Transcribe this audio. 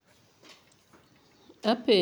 Apenjo, Abigail Awino en ng'a?